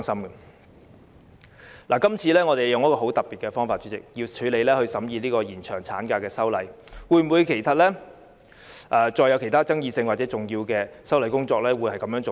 主席，我們今次用了很特別的方法審議延長產假的修例工作，其他具爭議性或重要的修例工作會否這樣做呢？